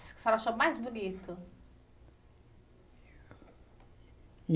Que a senhora achou mais bonito?